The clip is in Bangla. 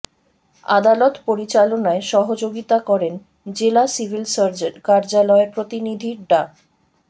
আদালত পরিচালনায় সহযোগিতা করেন জেলা সিভিল সার্জন কার্যালয়ের প্রতিনিধি ডা